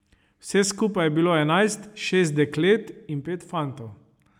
Vseh skupaj je bilo enajst, šest deklet in pet fantov.